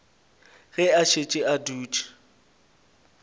ge a šetše a dutše